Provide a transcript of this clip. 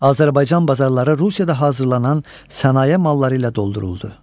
Azərbaycan bazarları Rusiyada hazırlanan sənaye malları ilə dolduruldu.